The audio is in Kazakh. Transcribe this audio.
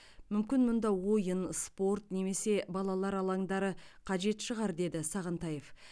мүмкін мұнда ойын спорт немесе балалар алаңдары қажет шығар деді сағынтаев